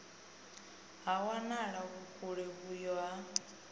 ha wanala vhukule vhuyo ha